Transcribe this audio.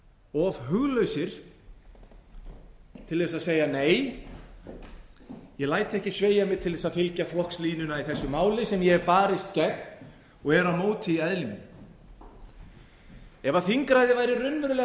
of huglausir til að segja nei ég læt ekki sveigja mig til að fylgja flokkslínunni í þessu máli sem ég hef barist gegn og er á móti í eðli mínu ef þingræði væri